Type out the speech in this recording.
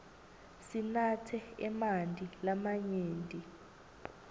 sinatse emanti lamanyenti